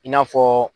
I n'a fɔ